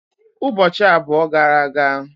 Ụbọchị abụọ gara aga.